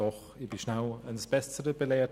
Doch ich wurde schnell eines Besseren belehrt: